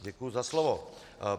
Děkuji za slovo.